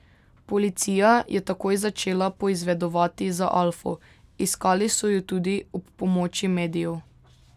Policija je takoj začela poizvedovati za alfo, iskali so jo tudi ob pomoči medijev.